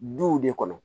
Duw de kɔnɔ